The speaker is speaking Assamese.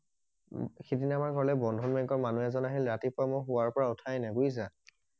সিদিনা আমাৰ ঘৰলে বন্ধন বেংকৰ মানুহ এজন আহিলে ৰাতিপুৱা মই শোৱাৰ পৰা উঠাই নাই বুজিছা